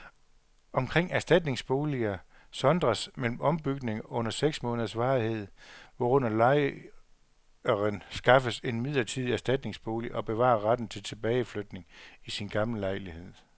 Omkring erstatningsboliger sondres mellem ombygninger under seks måneders varighed, hvorunder lejeren skaffes en midlertidig erstatningsbolig og bevarer retten til tilbageflytning i sin gamle lejlighed.